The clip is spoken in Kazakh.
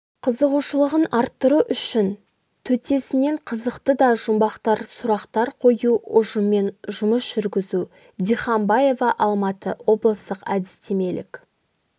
қызығушылығын арттыру үшін төтесінен қызықты да жұмбақ сұрақтар қою ұжыммен жұмыс жүргізу дихамбаева алматы облыстық әдістемелік